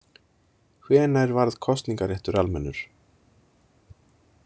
Hvenær varð kosningaréttur almennur?